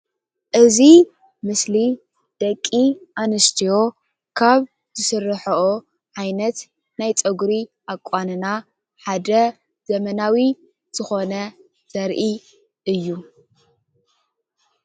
እዚ ምስሊ ደቂ አነስትዮ ካብ ዝስረሐኦ ዓይነት ናይ ፀጉሪ አቋንና ሓደ ዘመናዊ ዝኮነ ዘርኢ እዩ ።